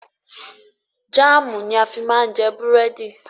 Jámùù ni a fi má ń jẹ búrẹ́dì.